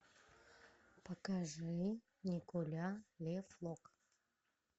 покажи николя ле флок